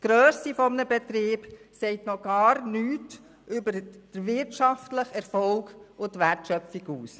Die Grösse eines Betriebs sagt noch gar nichts über den wirtschaftlichen Erfolg und die Wertschöpfung aus.